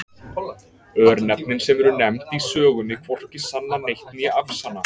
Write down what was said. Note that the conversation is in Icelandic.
Örnefnin sem eru nefnd í sögunni hvorki sanna neitt né afsanna.